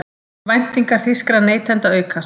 Væntingar þýskra neytenda aukast